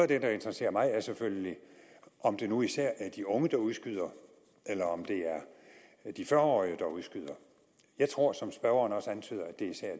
det der interesserer mig er selvfølgelig om det nu især er de unge der udskyder eller om det er de fyrre årige der udskyder jeg tror som spørgeren også antyder at det især